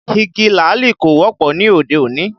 Igi làálì kò wọ́pọ̀ ní òde òní